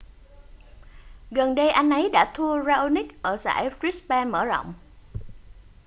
gần đây anh ấy đã thua raonic ở giải brisbane mở rộng